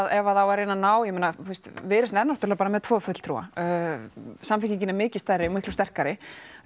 ef það á að reyna að ná ég meina Viðreisn er náttúrulega bara með tvo fulltrúa samfylkingin er mikið stærri og mikið sterkari